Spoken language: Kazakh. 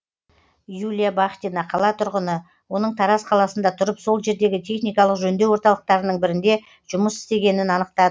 юлия бахтина қала тұрғыны оның тараз қаласында тұрып сол жердегі техникалық жөндеу орталықтарының бірінде жұмыс істегенін анықтадық